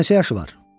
Qızın neçə yaşı var?